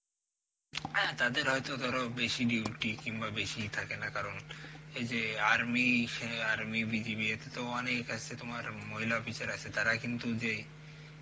হ্যাঁ তাদের হয়েত ধর বেসি duty কিনবা বেসি থাকেনা কারণ এই যে army, সে army, BGB এতে তো অনেক এ আছে তোমার মহিলা officer আছে তারা কিন্তু যে